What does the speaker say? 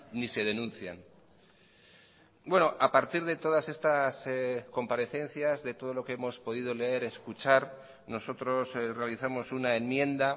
ni se denuncian a partir de todas estas comparecencias de todo lo que hemos podido leer escuchar nosotros realizamos una enmienda